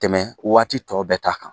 Ka tɛmɛ waati tɔ bɛɛ ta kan.